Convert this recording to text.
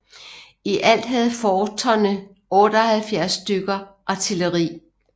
I alt havde forterne 78 stykker artilleri